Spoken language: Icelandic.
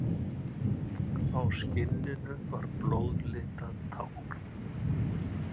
Á skinninu var blóðlitað tákn.